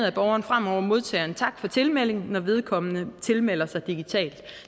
at borgeren fremover modtager en tak for tilmelding når vedkommende tilmelder sig digitalt